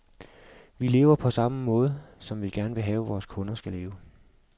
Vi lever på samme måde, som vi gerne vil have vores kunder skal leve.